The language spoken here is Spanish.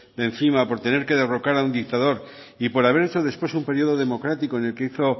de encima por tener que derrocar a un dictador y por haber hecho después un periodo democrático en el que hizo